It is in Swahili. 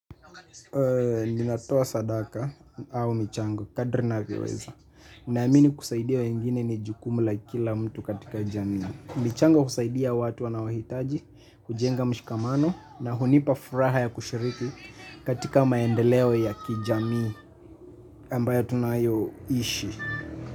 Ninatoa sadaka au michango, kadri ninavyoweza naamini kusaidia wengine ni jukumu la kila mtu katika jamii. Michango kusaidia watu wanaohitaji hujenga mshikamano na hunipa furaha ya kushiriki. Katika maendeleo ya kijamii ambayo tunayoishi.